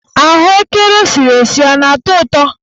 Ahụekere esiri esi a na-atọ ụtọ?